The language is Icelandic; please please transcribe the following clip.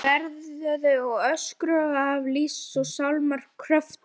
Þær veinuðu og öskruðu af öllum lífs og sálar kröftum.